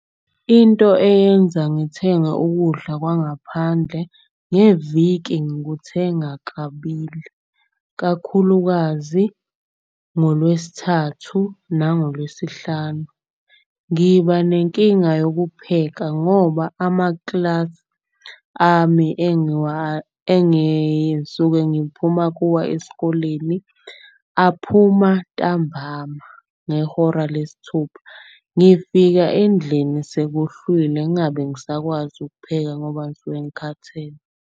Into eyenza ngithenge ukudla kwangaphandle, ngeviki ngikuthenga kabili. Kakhulukazi ngoLwesithathu nangoLwesihlanu ngiba nenkinga yokupheka. Ngoba amaklasi ami engisuke ngiphuma kuwa esikoleni, aphuma ntambama ngehora lesithupha. Ngifika endlini sekuhlwile ngabe ngisakwazi ukupheka ngoba ngisuke engikhathele.